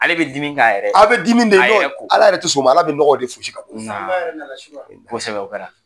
Ale bɛ dimi a bɛ ala yɛrɛ toƐ sƆn ma ala bɛ nɔgɔ de fosi ka bƆ